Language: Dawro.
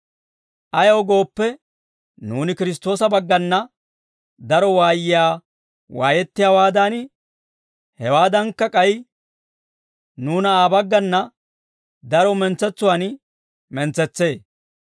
Ayaw gooppe, nuuni Kiristtoosa baggana daro waayiyaa waayettiyaawaadan, hewaadankka, k'ay nuuna Aa baggana daro mentsetsuwaan mentsetsee.